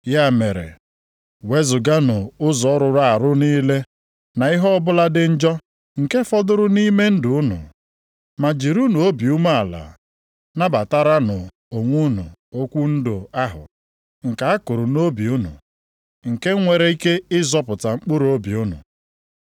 Ya mere, wezuganụ ụzọ rụrụ arụ niile na ihe ọbụla dị njọ nke fọdụrụ nʼime ndụ unu. Ma jirinụ obi umeala nabataranụ onwe unu okwu ndụ ahụ nke a kụrụ nʼobi unu, nke nwere ike ịzọpụta mkpụrụobi unu.